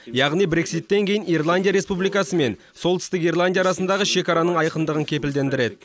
яғни брекситтен кейін ирландия республикасы мен солтүстік ирландия арасындағы шекараның айқындығын кепілдендіреді